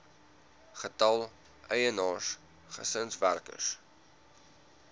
getal eienaars gesinswerkers